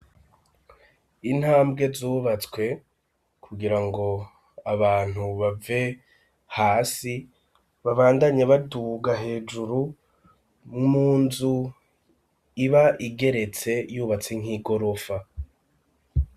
Intambwe zubatswe kugira ngo abantu bave hasi babandanye baduga hejuru munzu iba igeretse yubatse nk'igorofa.